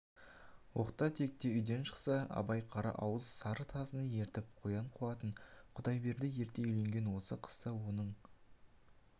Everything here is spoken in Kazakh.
оқта-текте үйден шықса абай қара-ауыз сары тазыны ертіп қоян қуатын құдайберді ерте үйленген осы қыста оның